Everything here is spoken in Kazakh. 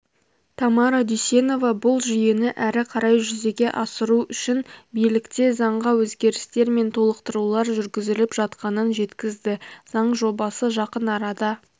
тамара дүйсенова бұл жүйені әрі қарай жүзеге асыру үшін билікте заңға өзгерістер мен толықтырулар жүргізіліп жатқанын жеткізді заң жобасы жақын арада